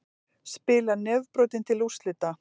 Spilar nefbrotinn til úrslita